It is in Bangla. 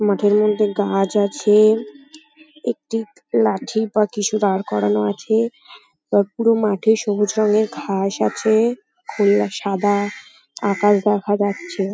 মাঠের মধ্যে গাছ আছে। একটি লাঠি বা কিছু দাঁড় করানো আছে। আর পুরো মাঠে সবুজ রঙের ঘাস আছে। খোলা সাদা আকাশ দেখা যাচ্ছে।